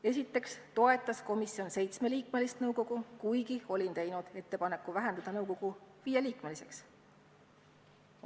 Esiteks toetas komisjon seitsmeliikmelist nõukogu, kuigi olin teinud ettepaneku vähendada nõukogu viieliikmeliseks.